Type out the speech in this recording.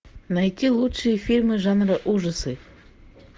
найти лучшие фильмы жанра ужасы